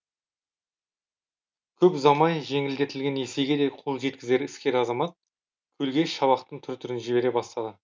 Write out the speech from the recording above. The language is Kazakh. көп ұзамай жеңілдетілген несиеге де қол жеткізген іскер азамат көлге шабақтың түр түрін жібере бастады